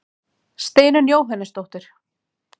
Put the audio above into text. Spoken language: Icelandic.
Steinunn Jóhannesdóttir.